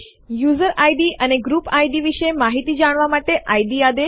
user ID અને group ID ID વિશે માહિતી જાણવા માટે ઇડ આદેશ